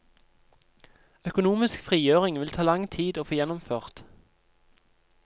Økonomisk frigjøring vil ta lang tid å få gjennomført.